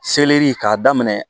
Seleri k'a daminɛ